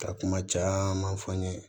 Ka kuma caman fɔ an ɲe